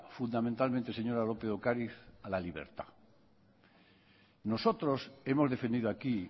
fundamentalmente señora lópez de ocariz a la libertad nosotros hemos defendido aquí